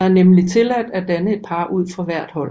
Der er nemlig tilladt at danne et par ud fra hvert hold